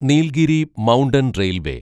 Nilgiri mountain railway